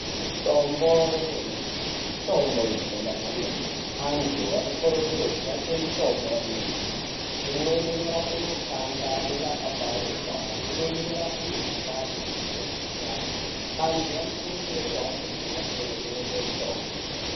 Mitombo yanyamashi mitombo inoshanda kwemene. Antu anokurudzirwe kushandise mitombo yanyamashi, imweni inorape makanda anenge akaparuka, imweni inorape mikhuhlani yakasiyana-siyana antu anokurudzirwe kuhambire kumhatso inotengeswe mitombo.